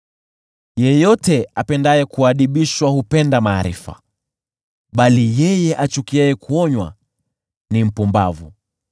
Yeyote apendaye kuadibishwa hupenda maarifa, bali yeye achukiaye kuonywa ni mpumbavu.